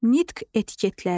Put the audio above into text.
Nitq etiketləri.